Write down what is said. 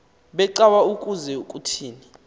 becawa ukuze kuthini